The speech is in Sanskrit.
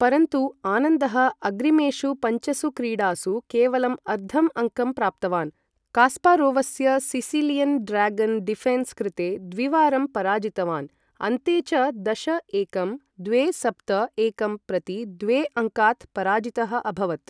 परन्तु आनन्दः अग्रिमेषु पञ्चसु क्रीडासु केवलम् अर्धम् अङ्कं प्राप्तवान्, कास्पारोवस्य सिसिलियन् ड्र्यागन् डिफेन्स् कृते द्विवारं पराजितवान्, अन्ते च दश एकं द्वे सप्त एकं प्रति द्वे अङ्कात् पराजितः अभवत्।